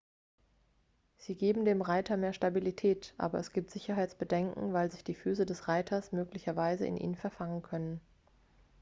sie geben dem reiter mehr stabilität aber es gibt sicherheitsbedenken weil sich die füße des reiters möglicherweise in ihnen verfangen können